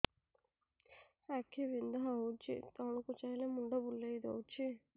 ଆଖି ବିନ୍ଧା ହଉଚି ତଳକୁ ଚାହିଁଲେ ମୁଣ୍ଡ ବୁଲେଇ ଦଉଛି